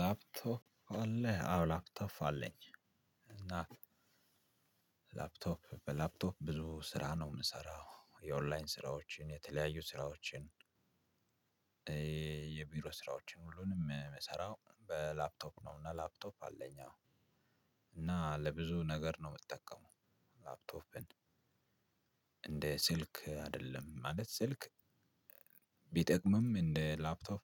ላፕቶፕ አለ አዎ ላፕቶፕ አለኝ። እና ላፕቶፕ በላፕቶፕ ብዙ ስራ ነው የምሰራው የኦንላይን ስራዎችን የተለያዩ ስራዎችን። የቢሮ ስራዎችን ሁሉንም ምሰራው በላፕቶፕ ነው። እና ላፕቶፕ አለኝ አዎ። እና ለብዙ ነገር ነው ምጠቀመው። ላፕቶፕን እንደ ስልክ አይደለም ማለት ስልክ ቢጠቅምም እንደ ላፕቶፕ